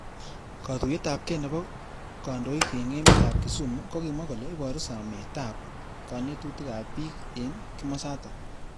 Katuyet ab kei nebo kanyoik eng emet ab Kisumu kokimwa kole iboru samet ab kanetutik ab bik eng kimosatak.